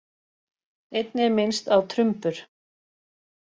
Einnig er minnst á trumbur.